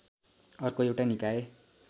अर्को एउटा निकाय